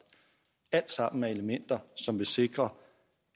alt sammen er elementer som vil sikre